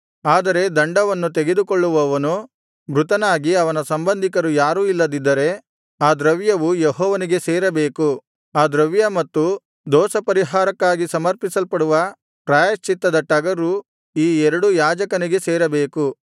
ಆದರೆ ದಂಡವನ್ನು ತೆಗೆದುಕೊಳ್ಳುವವನು ಮೃತನಾಗಿ ಅವನ ಸಂಬಂಧಿಕರು ಯಾರೂ ಇಲ್ಲದಿದ್ದರೆ ಆ ದ್ರವ್ಯವು ಯೆಹೋವನಿಗೆ ಸೇರಬೇಕು ಆ ದ್ರವ್ಯ ಮತ್ತು ದೋಷಪರಿಹಾರಕ್ಕಾಗಿ ಸಮರ್ಪಿಸಲ್ಪಡುವ ಪ್ರಾಯಶ್ಚಿತ್ತದ ಟಗರು ಈ ಎರಡೂ ಯಾಜಕನಿಗೆ ಸೇರಬೇಕು